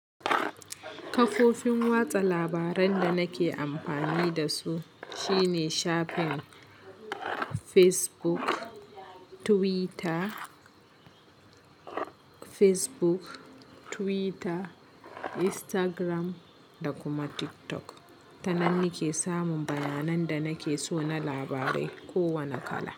Kafofin watsa labaran da nake amfani da su shine shafin Facebook, Twitter, Instagram da kuma TikTok. Ta nan nake samun bayanan da nake so na labarai, ko wane kala.